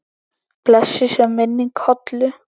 Blessuð sé minning Hollu.